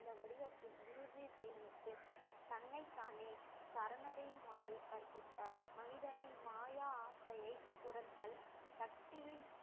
இந்த வடிவத்தில் இறுதி ஜீவனத்தில் தன்னைத்தானே சரணடையுமாறு கற்பித்தார் மனிதனின் மாய ஆசையை துரத்தல் சக்தியின்